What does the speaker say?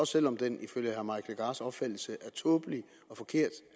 selv om den ifølge herre mike legarths opfattelse er tåbelig og forkert